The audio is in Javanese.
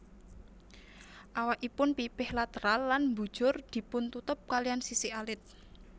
Awakipun pipih lateral lan mbujur dipuntutup kaliyan sisik alit